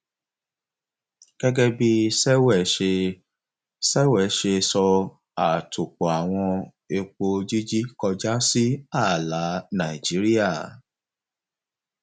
gẹgẹ bí sewell ṣe sewell ṣe sọ àtòpọàwọn epo jíjí kọjá sí ààlà nàìjíríà